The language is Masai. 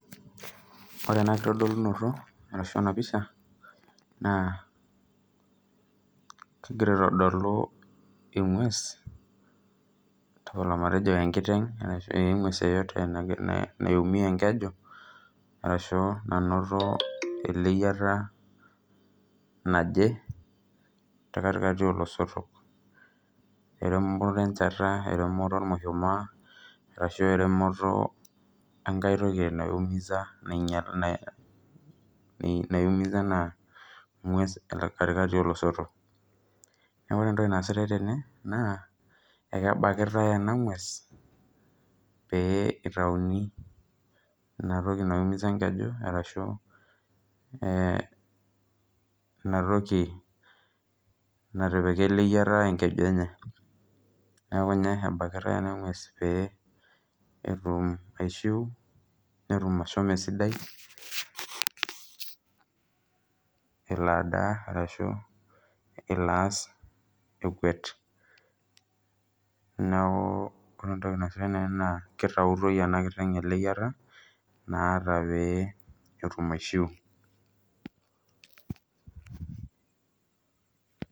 Ore enakitodolunoto ashubenapisha na kegira aitadolu engwes tapala matejo enkiteng ee engeus pokki naumie enkeju ashu nainoto eleyiata naje tekatikati oloitok etermo enchata ormushumaa ashu eremoto enkai toli naiumiza enangues katikati oloisotok neaku ore entoki naasotae tene na kebakitae ena ngwes pitauni inatoki naiumisa enkeju ashu intoki natipika eliayata ekeju enye neaku inaepikitae ina ngwes petum aishiu netum ashomo esidai elo adaa ahu eloo ass ekwet neaku ore entoki naasitai kitautoi enakiteng enaleyiata naata peyie etum aishiu.